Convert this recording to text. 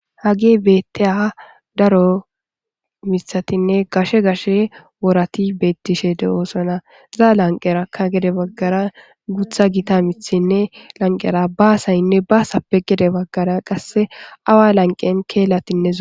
hagi betteaha daro mithatinne gashe gashe worati beettishe de7oosana zaa lanqerakka gede baggara gutha gita mithinne lanqera baasaynne baasape gede baggara qasse awa lanqen keellatinne zo